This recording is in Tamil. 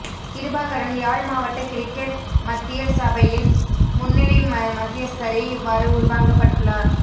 கிருபாகரன் யாழ் மாவட்ட கிரிக்கெற் மத்தியர் சபையின் முன்னிலை மத்தியஸ்தரே இவ்வாறு உள்வாங்கப்பட்டுள்ளார்